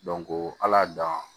ala dan